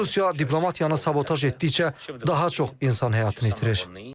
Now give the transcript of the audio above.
Çünki Rusiya diplomatiyanı sabotaj etdikcə daha çox insan həyatını itirir.